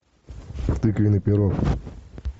тыквенный пирог